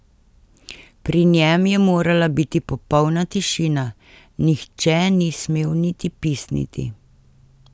Pri njem je morala biti popolna tišina, nihče ni smel niti pisniti.